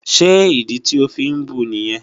Ṣé ìdí tí o fí ń bu nìyẹn?